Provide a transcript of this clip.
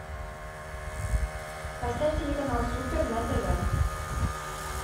поставь телеканал супер на тв